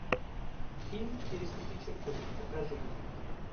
фильм переступи черту покажи